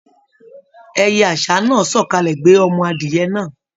Ẹyẹ aṣa náà sọkalẹ gbé ọmọ adìyẹ̀ náà.